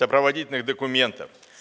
сопроводительных документов